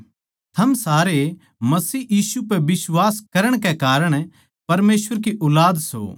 थम सारे मसीह यीशु पै बिश्वास करण के कारण परमेसवर की ऊलाद सों